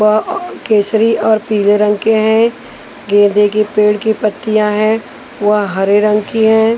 वह अअ केसरी और पीले रंग के हैं गेंदे के पेड़ की पत्तियाँ हैं वह हरे रंग की है।